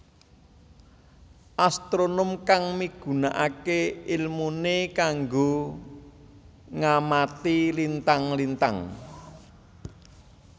Astronom kang migunakaké ilmuné kanggo ngamati lintang lintang